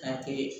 Ka kɛ